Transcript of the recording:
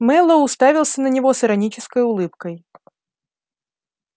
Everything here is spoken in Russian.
мэллоу уставился на него с иронической улыбкой